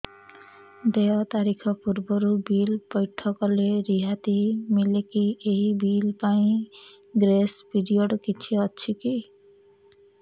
ଦେୟ ତାରିଖ ପୂର୍ବରୁ ବିଲ୍ ପୈଠ କଲେ ରିହାତି ମିଲେକି ଏହି ବିଲ୍ ପାଇଁ ଗ୍ରେସ୍ ପିରିୟଡ଼ କିଛି ଅଛିକି